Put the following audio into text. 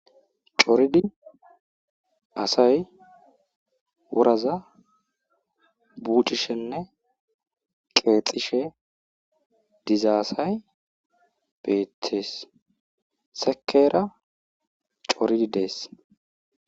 coridi asay wuraza buucishenne qeexishe dizaasay beethees sekeera coridi dees